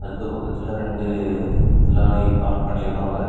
இந்த பக்கத்துல ரெண்டு லாரி பார்க் பண்ணி இருக்காங்க.